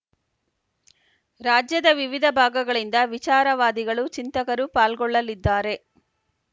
ರಾಜ್ಯದ ವಿವಿಧ ಭಾಗಗಳಿಂದ ವಿಚಾರವಾದಿಗಳು ಚಿಂತಕರು ಪಾಲ್ಗೊಳ್ಳಲಿದ್ದಾರೆ